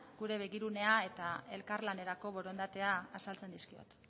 gure begirunea eta elkarlanerako borondatea azaltzen dizkiot